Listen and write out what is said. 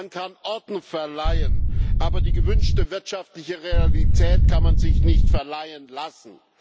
Man kann Ordnung verleihen, aber die gewünschte wirtschaftliche Realität kann man sich nicht verleihen lassen.